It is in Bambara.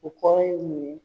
O kɔrɔ ye mun ye.